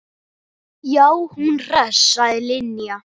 Já, hún hress sagði Linja.